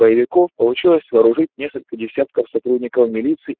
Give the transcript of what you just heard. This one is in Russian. боевиков получилось вооружить несколько десятков сотрудников милиции